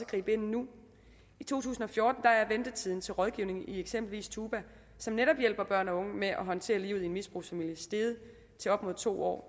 gribe ind nu i to tusind og fjorten er ventetiden til rådgivning i eksempelvis tuba som netop hjælper børn og unge med at håndtere livet i en misbrugsfamilie steget til op mod to år